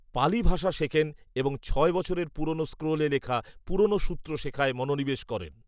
পালি ভাষা শেখেন এবং ছয় বছরের পুরনো স্ক্রোলে লেখা পুরনো সূত্র শেখায় মনোনিবেশ করেন